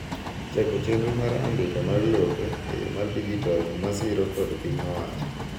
chako chenro mar andika mar lope e yoo mar dijital misiro kod piny owacho